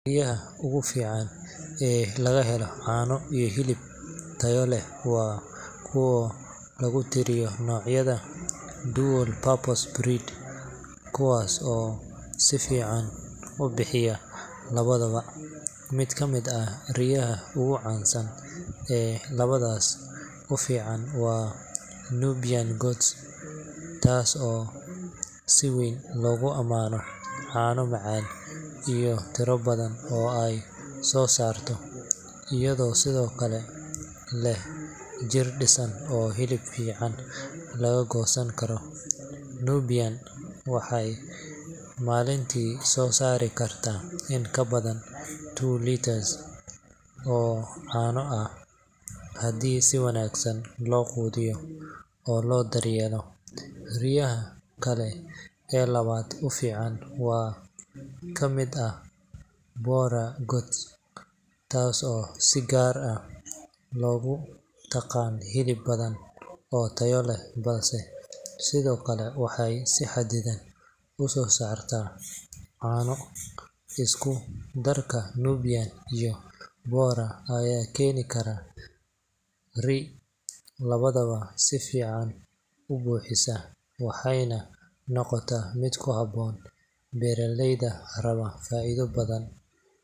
Riyaha ugu fiican ee laga helo caano iyo hilib tayo leh waa kuwa lagu tiriyaa noocyada dual-purpose breeds, kuwaas oo si fiican u bixiya labadaba. Mid ka mid ah riyaha ugu caansan ee labadaas u fiican waa Nubian goat, taas oo si weyn loogu ammaano caano macaan iyo tiro badan oo ay soo saarto, iyadoo sidoo kale leh jir dhisan oo hilib fiican laga goosan karo. Nubian waxay maalintii soo saari kartaa in ka badan two liters oo caano ah haddii si wanaagsan loo quudiyo oo loo daryeelo. Riyaha kale ee labada u fiican waxaa ka mid ah Boer goat, taas oo si gaar ah loogu yaqaan hilib badan oo tayo leh, balse sidoo kale waxay si xadidan u soo saartaa caano. Isku darka Nubian iyo Boer ayaa keeni kara ri’ labadaba si fiican u bixisa, waxayna noqotaa mid ku habboon beeraleyda raba faa’iido badan.